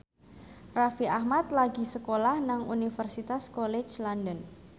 Raffi Ahmad lagi sekolah nang Universitas College London